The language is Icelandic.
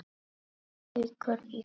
Haukur í golf.